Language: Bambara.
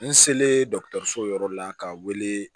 N selen dɔkɔtɔrɔso yɔrɔ la ka wele